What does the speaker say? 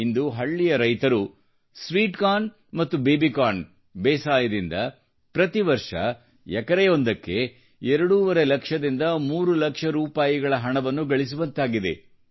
ಇಂದು ಹಳ್ಳಿಯ ರೈತರು ಸ್ವೀಟ್ಕಾರ್ನ್ ಮತ್ತು ಬೇಬಿಕಾರ್ನ್ ಕೃಷಿಯಿಂದ ಪ್ರತಿ ಎಕರೆಯೊಂದಕ್ಕೆ ಎರಡೂವರೆ ಲಕ್ಷದಿಂದ 3 ಲಕ್ಷ ಹಣವನ್ನು ಗಳಿಸುವಂತಾಗಿದೆ